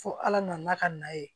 Fo ala nana ka na ye